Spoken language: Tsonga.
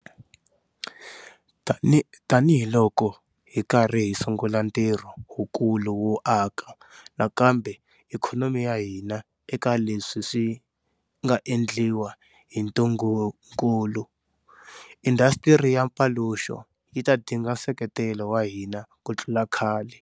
Tanihiloko hi karhi hi sungula ntirho wukulu wo aka nakambe ikhonomi ya hina eka leswi swi nga endliwa hi ntungukulu, indhasitiri ya mpaluxo yi ta dinga nseketelo wa hina ku tlula khale.